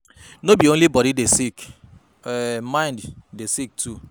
Sopport from friends and family fit mek healing dey faster